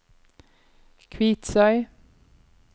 Kvitsøy